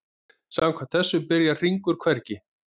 Samkvæmt þessu byrjar hringur hvergi.